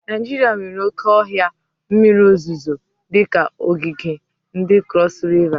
Naijiria nwere oke ohia mmiri ozuzo dika ogige ndi Crosu Riva.